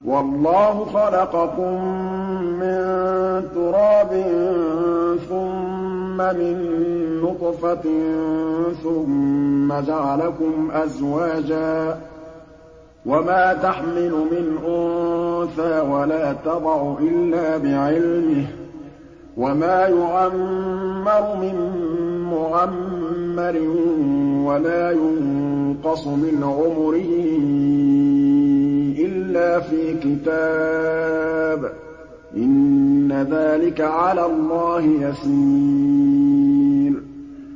وَاللَّهُ خَلَقَكُم مِّن تُرَابٍ ثُمَّ مِن نُّطْفَةٍ ثُمَّ جَعَلَكُمْ أَزْوَاجًا ۚ وَمَا تَحْمِلُ مِنْ أُنثَىٰ وَلَا تَضَعُ إِلَّا بِعِلْمِهِ ۚ وَمَا يُعَمَّرُ مِن مُّعَمَّرٍ وَلَا يُنقَصُ مِنْ عُمُرِهِ إِلَّا فِي كِتَابٍ ۚ إِنَّ ذَٰلِكَ عَلَى اللَّهِ يَسِيرٌ